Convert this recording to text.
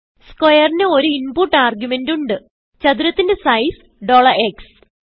square ന് ഒരു input argument ഉണ്ട് ചതുരത്തിന്റെ സൈസ് x